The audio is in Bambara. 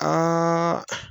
Aaaaa